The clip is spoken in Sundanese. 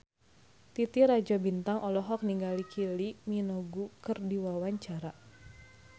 Titi Rajo Bintang olohok ningali Kylie Minogue keur diwawancara